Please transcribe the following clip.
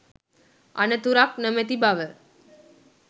අනතුරක් නොමැති බව